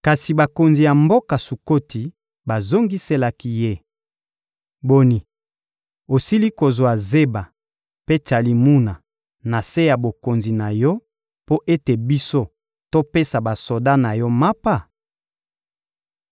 Kasi bakonzi ya mboka Sukoti bazongiselaki ye: — Boni, osili kozwa Zeba mpe Tsalimuna na se ya bokonzi na yo mpo ete biso topesa basoda na yo mapa?